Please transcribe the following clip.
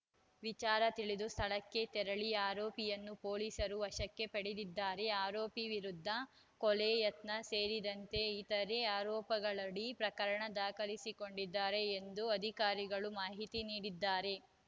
ವಿಚಾರ ತಿಳಿದು ಸ್ಥಳಕ್ಕೆ ತೆರಳಿ ಆರೋಪಿಯನ್ನು ಪೊಲೀಸರು ವಶಕ್ಕೆ ಪಡೆದಿದ್ದಾರೆ ಆರೋಪಿ ವಿರುದ್ಧ ಕೊಲೆ ಯತ್ನ ಸೇರಿದಂತೆ ಇತರೆ ಆರೋಪಗಳಡಿ ಪ್ರಕರಣ ದಾಖಲಿಸಿಕೊಂಡಿದ್ದಾರೆ ಎಂದು ಅಧಿಕಾರಿಗಳು ಮಾಹಿತಿ ನೀಡಿದ್ದಾರೆ